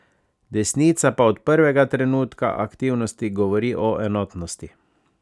Desnica pa od prvega trenutka aktivnosti govori o enotnosti.